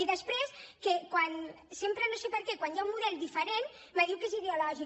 i després sempre no sé per què quan hi ha un model diferent me diu que és ideològic